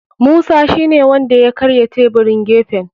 Musa shine wanda ya karya taburin gefen.